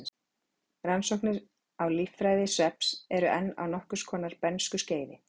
Rannsóknir á líffræði svefns eru enn á nokkurs konar bernskuskeiði.